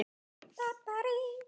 Kveðja Sandra Ósk.